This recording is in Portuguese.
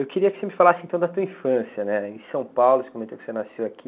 Eu queria que você me falasse então da sua infância, né? Em São Paulo, você comentou que você nasceu aqui.